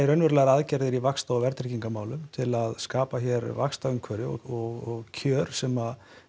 raunverulegar aðgerðir í vaxta og verðtryggingar málum til þess að skapa hér vaxtaumhverfi og kjör sem